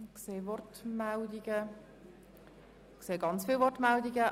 Ich sehe viele Wortmeldungen.